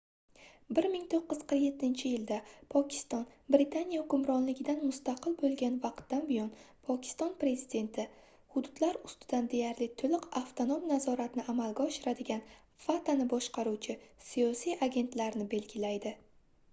1947-yilda pokiston britaniya hukmronligidan mustaqil bo'lgan vaqtdan buyon pokiston prezidenti hududlar ustidan deyarli to'liq avtonom nazoratni amalga oshiradigan fatani boshqaruvchi siyosiy agentlar"ni belgilaydi